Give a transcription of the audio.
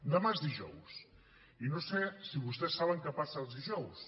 demà és dijous i no sé si vostès saben què passa els dijous